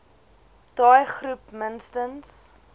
daai groep minstens